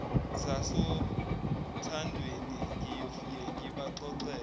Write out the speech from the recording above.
sasothandweni ngiyofike ngibaxoxele